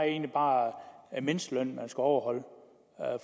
egentlig bare mindstelønnen der skal overholdes